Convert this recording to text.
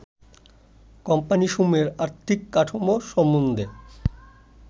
কোম্পানীসমুহের আর্থিক কাঠামো সন্বন্ধে